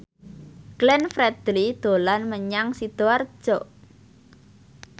Glenn Fredly dolan menyang Sidoarjo